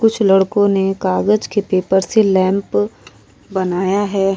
कुछ लड़कों ने कागज के पेपर से लैंप बनाया है।